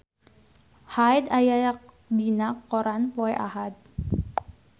Hyde aya dina koran poe Ahad